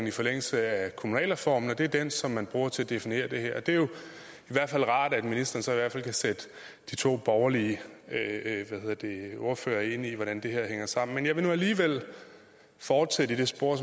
i forlængelse af kommunalreformen og det er den som man bruger til at definere det her det er jo i hvert fald rart at ministeren så kan sætte de to borgerlige ordførere ind i hvordan det her hænger sammen men jeg vil nu alligevel fortsætte i det spor